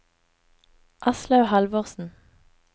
Aslaug Halvorsen